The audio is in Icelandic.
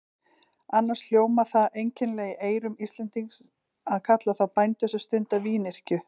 Annars hljómar það einkennilega í eyrum Íslendings að kalla þá bændur sem stunda vínyrkju.